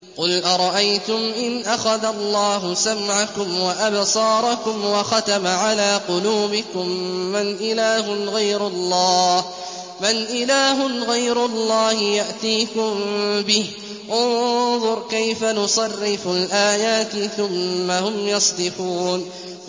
قُلْ أَرَأَيْتُمْ إِنْ أَخَذَ اللَّهُ سَمْعَكُمْ وَأَبْصَارَكُمْ وَخَتَمَ عَلَىٰ قُلُوبِكُم مَّنْ إِلَٰهٌ غَيْرُ اللَّهِ يَأْتِيكُم بِهِ ۗ انظُرْ كَيْفَ نُصَرِّفُ الْآيَاتِ ثُمَّ هُمْ يَصْدِفُونَ